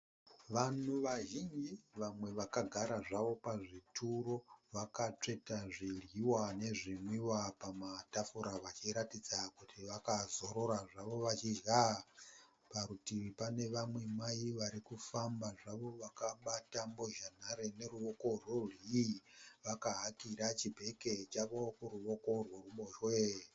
Vanhu vazhinji vamwevakagara zvavo pazvituro. Vakatsveta zvidyiwa nezvinwiwa pamatafura vachiratidza kuti vakazorora zvavo vachidya . Parutivi pane vamwe mai varikufamba zvavo vakabata mbozha nhare neruwoko rwerudyi vakahakira chibhegi chavo kuruwoko rweruboshwe.